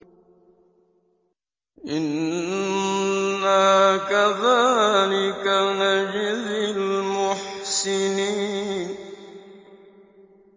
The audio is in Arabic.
إِنَّا كَذَٰلِكَ نَجْزِي الْمُحْسِنِينَ